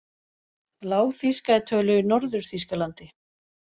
Lágþýska er töluð í Norður-Þýskalandi.